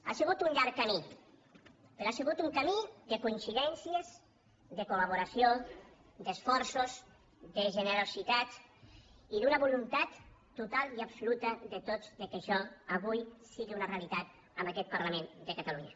ha sigut un llarg camí però ha sigut un camí de coincidències de col·laboració d’esforços de generositat i d’una voluntat total i absoluta de tots que això avui sigui una realitat en aquest parlament de catalunya